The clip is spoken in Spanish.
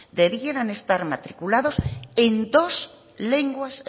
debieran estar matriculados en dos lenguas